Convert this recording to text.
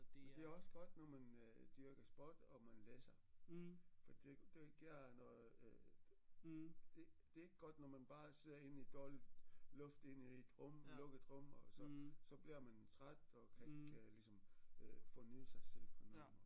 Men det er også godt når man øh dyrker sport og man læser for det det giver noget øh det det er ikke godt når man bare sidder inde i dårligt luft inde i et rum lukket rum så så bliver man træt og kan ikke ligesom øh forny sig selv på den måde